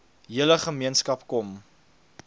hele gemeenskap kom